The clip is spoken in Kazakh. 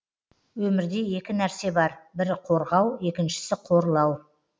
өмірде екі нәрсе бар бірі қорғау екіншісі қорлау